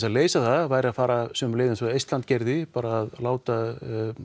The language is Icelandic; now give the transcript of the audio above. að leysa það væri að fara sömu leið og Eistland gerði bara að láta